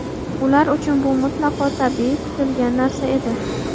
Ular uchun bu mutlaqo tabiiy, kutilgan narsa edi.